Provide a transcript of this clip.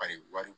wari